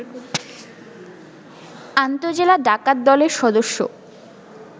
আন্তঃজেলা ডাকাতদলের সদস্য